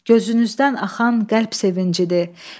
Gözünüzdən axan qəlb sevincidir.